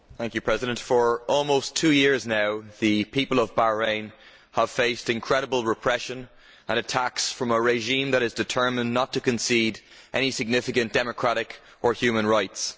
Mr President, for almost two yeas now the people of Bahrain have faced incredible repression and attacks from a regime that is determined not to concede any significant democratic or human rights.